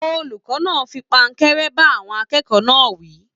Olùkọ náà fí pankẹ̀rẹ̀ ba àwọn akẹ́kọ̀ọ́ náà wí.